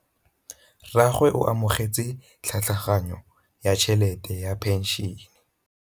Rragwe o amogetse tlhatlhaganyô ya tšhelête ya phenšene.